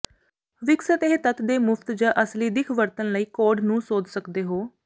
ਵਿਕਸਤ ਇਹ ਤੱਤ ਦੇ ਮੁਫ਼ਤ ਜ ਅਸਲੀ ਦਿੱਖ ਵਰਤਣ ਲਈ ਕੋਡ ਨੂੰ ਸੋਧ ਸਕਦੇ ਹੋ